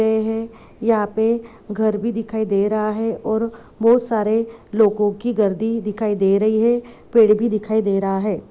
है यहाँ पर घर भी दिखाई दे रहा है और बहुत सारे लोगों की गद्दी दिखाई दे रही है पेड़ भी दिखाई दे रहा है।